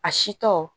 A si tɔ